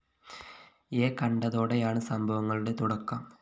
യെ കണ്ടതോടെയാണ് സംഭവങ്ങളുടെ തുടക്കം